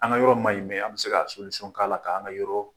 An ka yɔrɔ ma ɲi an bɛ se ka k'a la , k'an ka yɔrɔ